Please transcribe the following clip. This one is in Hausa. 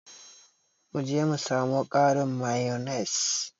Mu je mu samo ƙarin mayonnaise.